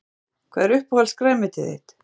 Breki: Hvað er uppáhalds grænmetið þitt?